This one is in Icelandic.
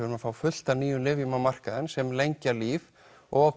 erum að fá fullt af nýjum lyfjum á markaðinn sem lengja líf og